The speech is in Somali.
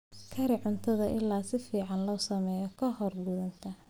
Kari cuntada ilaa si fiican loo sameeyo ka hor quudinta.